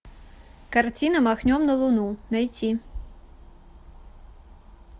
картина махнем на луну найти